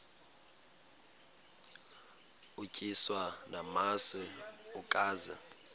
utyiswa namasi ukaze